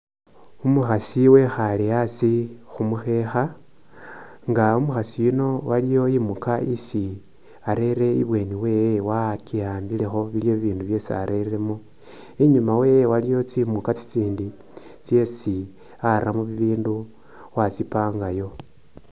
Umukhasi ekhale khasi kumukhekha nga umukhasi yuno aliwo imuka isi arere ibindu byee wakihambilekho iliwo ibindu byesi arelemo inyuma wewe iliyo tsimuka tsitsindi tsesi aramo bibindu watsipangayo.